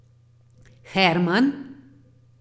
Herman?